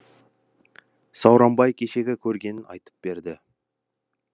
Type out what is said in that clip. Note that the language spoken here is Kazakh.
сауранбай кешегі көргенін айтып берді